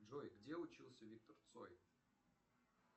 джой где учился виктор цой